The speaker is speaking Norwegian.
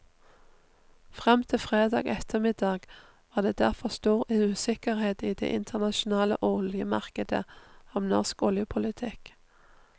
Frem til fredag ettermiddag var det derfor stor usikkerhet i det internasjonale oljemarkedet om norsk oljepolitikk.